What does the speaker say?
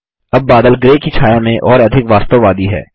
अब बादल ग्रे की छाया में और अधिक वास्तववादी है